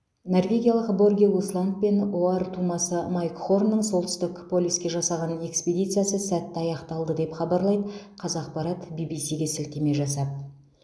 норвегиялық борге усланд пен оар тумасы майк хорнның солтүстік полюске жасаған экспедициясы сәтті аяқталды деп хабарлайды қазақпарат ввс ге сілтеме жасап